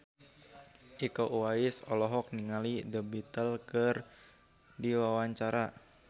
Iko Uwais olohok ningali The Beatles keur diwawancara